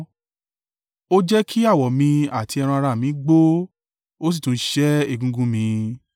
Ó jẹ́ kí àwọ̀ mi àti ẹran-ara mi gbó ó sì tún ṣẹ́ egungun mi.